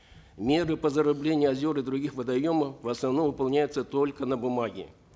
меры по зарыблению озер и других водоемов в основном выполняются только на бумаге